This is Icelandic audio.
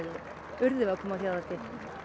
urðum við að koma á þjóðhátíð